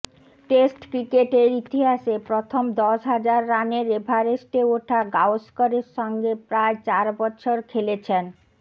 test ক্রিকেটের ইতিহাসে প্রথম দশ হাজার রানের এভারেস্টে ওঠা গাওস্করের সঙ্গে প্রায় চার বছর খেলেছেন